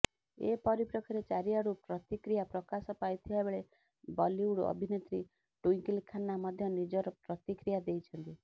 ଏ ପରିପେକ୍ଷୀରେ ଚାରିଆଡୁ ପ୍ରତିକ୍ରିୟା ପ୍ରକାଶ ପାଇଥିବାବେଳେ ବଲିଉଡ୍ ଅଭିନେତ୍ରୀ ଟ୍ବିଙ୍କଲ ଖାନ୍ନା ମଧ୍ଯ ନିଜର ପ୍ରତିକ୍ରିୟା ଦେଇଛନ୍ତି